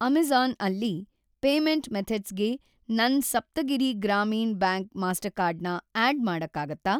Amazon ಅಲ್ಲಿ payment ಮೆಥಡ್ಸ್‌ಗೆ ನನ್‌ ಸಪ್ತಗಿರಿ ಗ್ರಾಮೀಣ್‌ ಬ್ಯಾಂಕ್ ಮಾಸ್ಟರ್‌ಕಾರ್ಡ್ ನ ಆಡ್‌ ಮಾಡಕ್ಕಾಗತ್ತಾ?